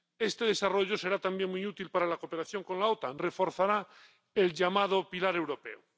Este desarrollo será también muy útil para la cooperación con la OTAN y reforzará el llamado pilar europeo.